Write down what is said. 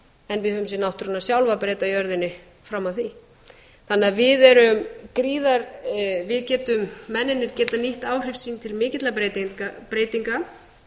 en við höfum séð náttúruna sjálfa breyta jörðinni fram að því þannig að mennirnir geta nýtt áhrif sín til mikilla breytinga og